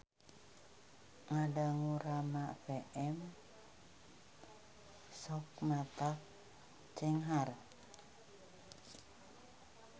Ngadangu Rama FM sok matak cenghar